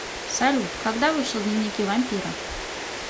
салют когда вышел дневники вампира